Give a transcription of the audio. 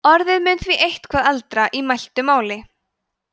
orðið mun því eitthvað eldra í mæltu máli